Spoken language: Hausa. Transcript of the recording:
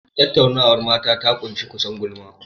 Tattaunawar mata ta ƙunshi kusan gulma.